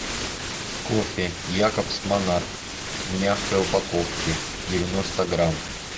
кофе якобс монарх в мягкой упаковке девяносто грамм